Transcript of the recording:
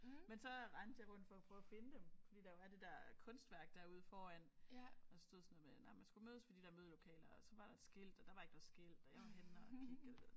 Men så rendte jeg rundt for at prøve at finde dem fordi der jo er det der kunstværk derude foran og der stod sådan noget med nej at man skulle mødes ved de der mødelokaler og så var der et skilt og der var ikke noget skilt og jeg var henne at kigge og